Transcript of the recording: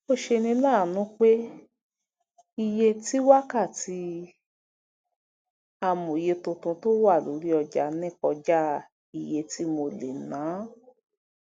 ó ṣeni láàánú pé iye tí wákàtí amóye tuntun tó wà lórí ọjà ní kọjá iye tí mo lè ná